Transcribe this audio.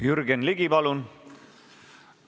Jürgen Ligi, palun!